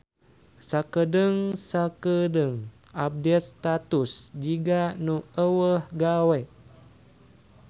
Sakedeung-sakeudeung update status jiga nu euweuh gawe